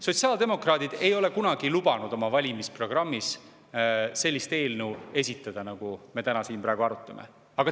Sotsiaaldemokraadid ei ole kunagi lubanud oma valimisprogrammis sellist eelnõu esitada, nagu me siin praegu arutame.